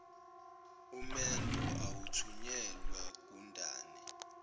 umendo awuthunyelwa gundane